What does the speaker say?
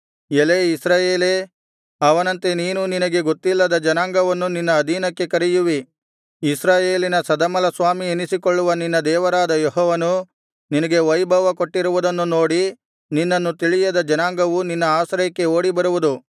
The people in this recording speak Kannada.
ಎಲೈ ಇಸ್ರಾಯೇಲೇ ಅವನಂತೆ ನೀನೂ ನಿನಗೆ ಗೊತ್ತಿಲ್ಲದ ಜನಾಂಗವನ್ನು ನಿನ್ನ ಅಧೀನಕ್ಕೆ ಕರೆಯುವಿ ಇಸ್ರಾಯೇಲಿನ ಸದಮಲಸ್ವಾಮಿ ಎನಿಸಿಕೊಳ್ಳುವ ನಿನ್ನ ದೇವರಾದ ಯೆಹೋವನು ನಿನಗೆ ವೈಭವ ಕೊಟ್ಟಿರುವುದನ್ನು ನೋಡಿ ನಿನ್ನನ್ನು ತಿಳಿಯದ ಜನಾಂಗವು ನಿನ್ನ ಆಶ್ರಯಕ್ಕೆ ಓಡಿಬರುವುದು